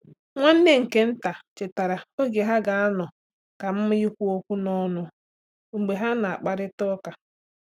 Nwanne nke nta chere oge ha ga-anọ kama ikwu okwu n'ọnụ mgbe ha na-akparịta ụka.